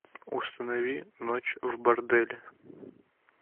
установи ночь в борделе